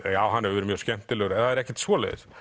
já hann hefur verið mjög skemmtilegur ekkert svoleiðis